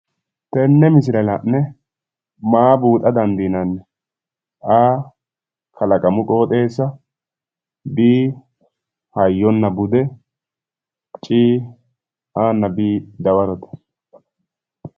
Tenne misile la'ne maa buuxa dandiinanni? a. kalaqamu qooxeessa b. hayyonna bude c, a nna b dawarote.